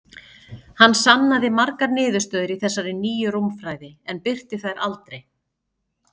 Hann sannaði margar niðurstöður í þessari nýju rúmfræði, en birti þær aldrei.